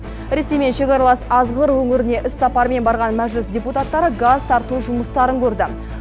ресеймен шекаралас азғыр өңіріне іс сапармен барған мәжіліс депутаттары газ тарту жұмыстарын көрді